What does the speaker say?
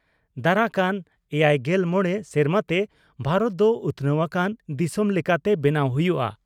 ᱫᱟᱨᱟ ᱠᱟᱱ ᱮᱭᱟᱭᱜᱮᱞ ᱢᱚᱲᱮ ᱥᱮᱨᱢᱟ ᱛᱮ ᱵᱷᱟᱨᱚᱛ ᱫᱚ ᱩᱛᱷᱱᱟᱹᱣ ᱟᱠᱟᱱ ᱫᱤᱥᱚᱢ ᱞᱮᱠᱟᱛᱮ ᱵᱮᱱᱟᱣ ᱦᱩᱭᱩᱜᱼᱟ ᱾